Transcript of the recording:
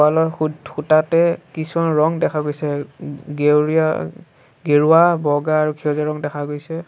তলৰ খু- খুঁটাতে কিছুমান ৰং দেখা গৈছে গেউৰীয়া গেৰুৱা বগা আৰু সেউজীয়া ৰং দেখা গৈছে।